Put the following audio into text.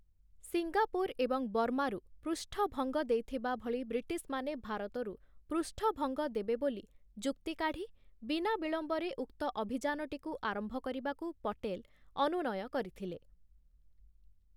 Singapore ଏବଂ ବର୍ମାରୁ ପୃଷ୍ଠଭଙ୍ଗ ଦେଇଥିବା ଭଳି ବ୍ରିଟିଶ୍‌ମାନେ ଭାରତରୁ ପୃଷ୍ଠଭଙ୍ଗ ଦେବେ ବୋଲି ଯୁକ୍ତି କାଢ଼ି, ବିନା ବିଳମ୍ବରେ ଉକ୍ତ ଅଭିଯାନଟିକୁ ଆରମ୍ଭ କରିବାକୁ ପଟେଲ ଅନୁନୟ କରିଥିଲେ ।